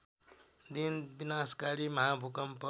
दिन विनाशकारी महाभूकम्प